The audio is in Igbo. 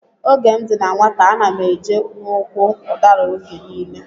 Oge m dị na nwata, ana m eje n'úkwù udara oge nile.